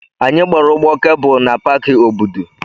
Anyị gbara ụgbọ kebụlụ na Paki Obudu.